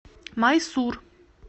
майсур